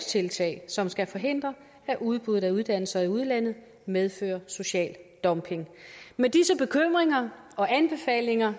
tiltag som skal forhindre at udbuddet af uddannelser i udlandet medfører social dumping med disse bekymringer og anbefalinger